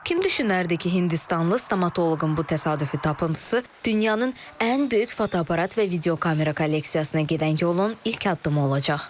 Kim düşünərdi ki, Hindistanlı stomatoloqun bu təsadüfi tapıntısı dünyanın ən böyük fotoaparat və videokamera kolleksiyasına gedən yolun ilk addımı olacaq?